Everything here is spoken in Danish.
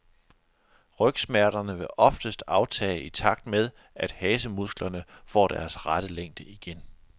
Rygsmerterne vil oftest aftage i takt med, at hasemusklerne får deres rette længde igen.